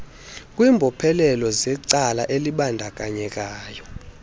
kwimbophelelo zecala elibandakanyekayo